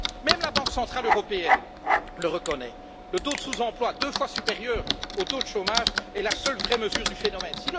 Même la Banque centrale européenne le reconnaît le taux de sous emploi, deux fois supérieur à celui du chômage, est la seule vraie mesure du phénomène.